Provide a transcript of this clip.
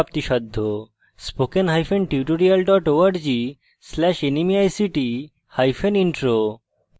spoken hyphen tutorial dot org slash nmeict hyphen intro